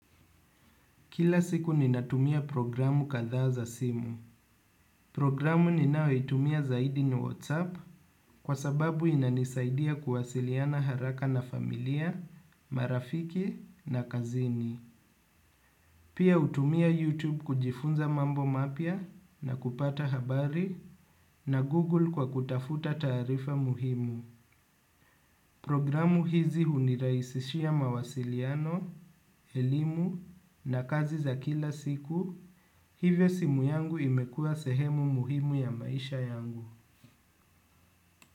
Kila siku ninatumia programu kadhaa za simu. Programu ninaoitumia zaidi ni WhatsApp kwa sababu inanisaidia kuwasiliana haraka na familia, marafiki na kazini. Pia hutumia YouTube kujifunza mambo mapya na kupata habari na Google kwa kutafuta taarifa muhimu. Programu hizi hunirahisishia mawasiliano, elimu na kazi za kila siku. Hivyo simu yangu imekuwa sehemu muhimu ya maisha yangu.